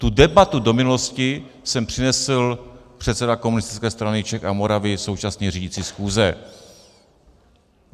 Tu debatu do minulosti sem přinesl předseda Komunistické strany Čech a Moravy, současně řídící schůze.